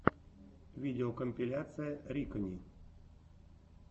видеокомпиляция рикани